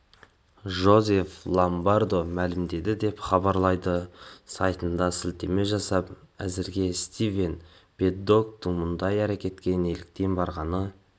джозеф ломбардо мәлімдеді деп хабарлайды сайтына сілтеме жасап әзірге стивен пэддоктың мұндай әрекетке неліктен барғаны